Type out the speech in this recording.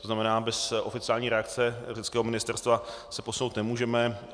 To znamená, bez oficiální reakce řeckého ministerstva se posunout nemůžeme.